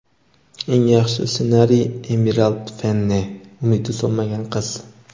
Eng yaxshi ssenariy – Emirald Fennel ("Umidi so‘nmagan qiz");.